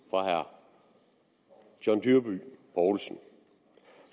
fra herre john dyrby paulsen